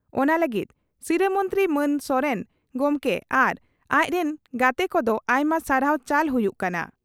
ᱚᱱᱟ ᱞᱟᱹᱜᱤᱫ ᱥᱤᱨᱟᱹ ᱢᱚᱱᱛᱨᱤ ᱢᱟᱹᱱ ᱥᱚᱨᱮᱱ ᱜᱚᱢᱠᱮ ᱟᱨ ᱟᱡ ᱨᱤᱱ ᱜᱟᱛᱮ ᱠᱚᱫᱚ ᱟᱭᱢᱟ ᱥᱟᱨᱦᱟᱣ ᱪᱟᱞ ᱦᱩᱭᱩᱜ ᱠᱟᱱᱟ ᱾